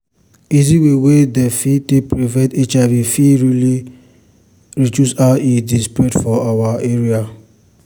easy way wey dem fit take prevent hiv fit really reduce how e dey spread for our area.